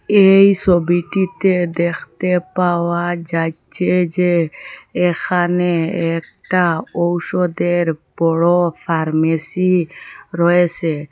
এই সবিটিতে দেখতে পাওয়া যাচ্ছে যে এখানে একটা ঔষধের বড় ফার্মেসি রয়েসে।